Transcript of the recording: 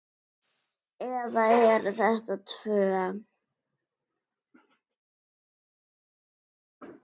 Eða eru þetta tvö?